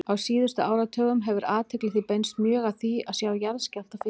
Á síðustu áratugum hefur athygli því beinst mjög að því að sjá jarðskjálfta fyrir.